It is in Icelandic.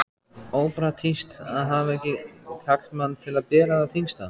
Ópraktískt að hafa ekki karlmann til að bera það þyngsta.